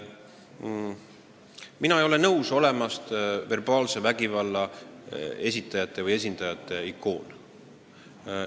Mina ei ole nõus olema verbaalse vägivalla esindajate ikoon.